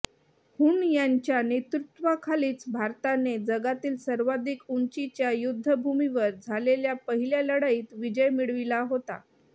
हून यांच्या नेतृत्वाखालीच भारताने जगातील सर्वाधिक उंचीच्या युद्धभूमीवर झालेल्या पहिल्या लढाईत विजय मिळविला होता